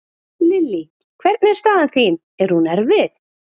Lillý: Hvernig er staðan þín, er hún erfið?